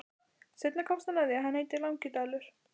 Seinna komst hann að því að hann heitir Langidalur.